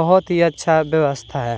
बहोत ही अच्छा व्यवस्था है।